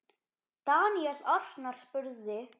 Daníel Arnar spurði